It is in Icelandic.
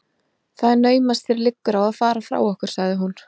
Það er naumast þér liggur á að fara frá okkur sagði hún.